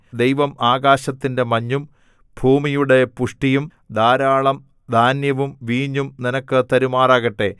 ദൈവം ആകാശത്തിന്റെ മഞ്ഞും ഭൂമിയുടെ പുഷ്ടിയും ധാരാളം ധാന്യവും വീഞ്ഞും നിനക്ക് തരുമാറാകട്ടെ